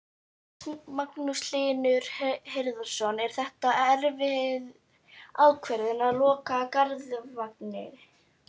Magnús Hlynur Hreiðarsson: Er þetta erfið ákvörðun að loka Garðvangi?